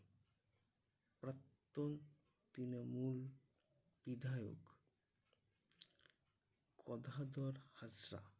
প্রাক্তন তৃণমূল বিধায়ক অঘদর হাঁসদা